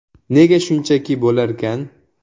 “Nega shunchaki bo‘larkan?